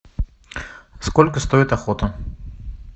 сколько стоит охота